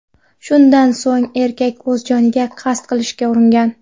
Shundan so‘ng erkak o‘z joniga qasd qilishga uringan.